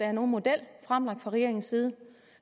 er nogen model fremlagt fra regeringens side